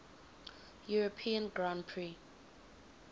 european grand prix